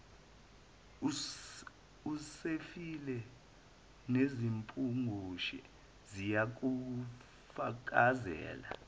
usefile nezimpungushe ziyakufakazela